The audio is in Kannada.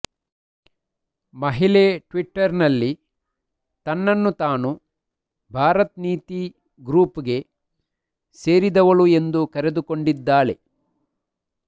ಮಹಿಳೆ ಟ್ವಿಟರ್ ನಲ್ಲಿ ತನ್ನನ್ನು ತಾನು ಭಾರತ್ ನೀತಿ ಗ್ರೂಪ್ ಗೆ ಸೇರಿದವಳು ಎಂದು ಕರೆದುಕೊಂಡಿದ್ದಾಳೆ